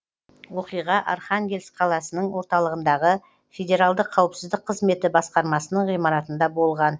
оқиға архангельск қаласының орталығындағы федералдық қауіпсіздік қызметі басқармасының ғимаратында болған